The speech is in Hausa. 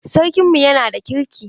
Sarkin mu yana da kirki.